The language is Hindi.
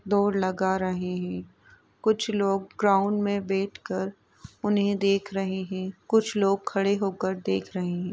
दौड़ लगा रहे है कुछ लोग ग्राउंड में बैठ कर उन्हें देख रहे है और कुछ लोग खड़े होकर देख रहे --